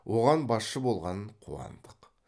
оған басшы болған қуандық